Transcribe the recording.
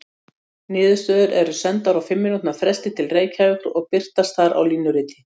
Niðurstöður eru sendar á fimm mínútna fresti til Reykjavíkur og birtast þar á línuriti.